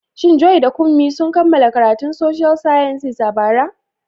Shin Joy da Kunmi sun kammala karatun Social Sciences a bara?